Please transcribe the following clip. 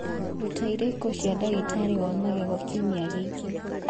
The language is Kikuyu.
rũta irĩko cia ndagĩtarĩ wa magego kiumia gĩkĩ